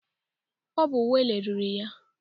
Ọ bụ Wale riri ya.